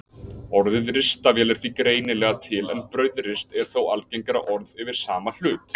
Orðið ristavél er því greinilega til en brauðrist er þó algengara orð yfir sama hlut.